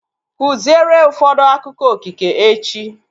Kụziere ụfọdụ akụkọ okike echi!